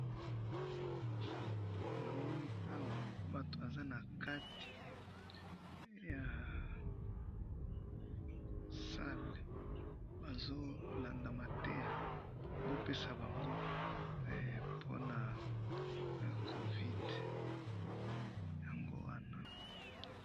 namoni awa batu baza nakati ya salle bazo landa mateya bazo pesa bangpo pona covid hee yango wana.